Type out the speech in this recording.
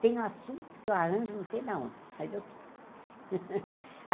Tem um assunto que eu arranjo, não sei da onde, mas eu tiro.